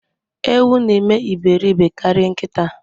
Ewu na eme iberibe karịa nkịta.